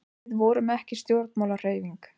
Við vorum ekki stjórnmálahreyfing.